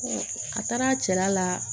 a taara cɛla la